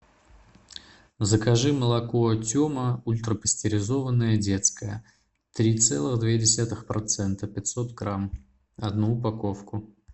закажи молоко тема ультрапастеризованное детское три целых две десятых процента пятьсот грамм одну упаковку